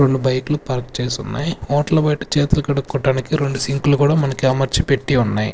రొండు బైక్లు పార్క్ చేసున్నాయ్ హోటల్ బయట చేతులు కడుక్కోటానికి రెండు సింకులు కూడా మనకి అమర్చపెట్టి ఉన్నాయ్.